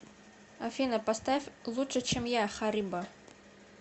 афина поставь лучше чем я харибо